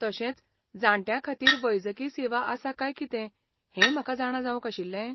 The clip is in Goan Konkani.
तशेंच, जाण्ट्यां खातीर वैजकी सेवा आसा काय कितें हें म्हाका जाणा जावंक आशिल्लें?